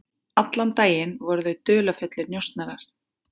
Allan daginn voru þau dularfullir njósnarar.